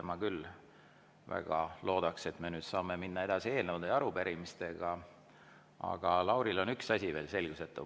Ma väga loodan, et me saame eelnõude ja arupärimistega edasi minna, aga Laurile on üks asi veel selgusetu.